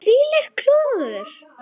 Þvílíkt klúður.